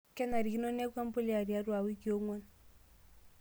Kenarikino neeku empulia tiatwa wikii ong'wan.